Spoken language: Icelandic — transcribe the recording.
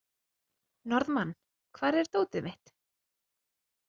Norðmann, hvar er dótið mitt?